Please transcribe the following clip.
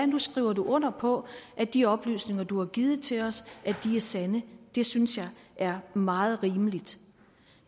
nu skriver du under på at de oplysninger du har givet til os er sande det synes jeg er meget rimeligt